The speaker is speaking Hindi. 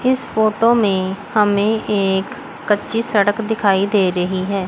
इस फोटो में हमें एक कच्ची सड़क दिखाई दे रही है।